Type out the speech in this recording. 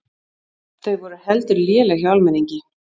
Þau voru heldur léleg hjá almenningi.